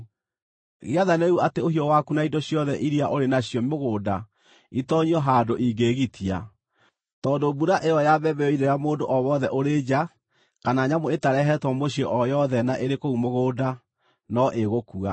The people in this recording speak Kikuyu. Gĩathane rĩu atĩ ũhiũ waku na indo ciothe iria ũrĩ nacio mũgũnda itoonyio handũ ingĩĩgitia, tondũ mbura ĩyo ya mbembe yoirĩra mũndũ o wothe ũrĩ nja kana nyamũ ĩtarehetwo mũciĩ o yothe na ĩrĩ kũu mũgũnda no ĩgũkua.’ ”